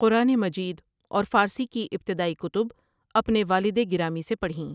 قرآن مجید اور فارسی کی ابتدائی کتب اپنے والدِ گرامی سے پڑھیں۔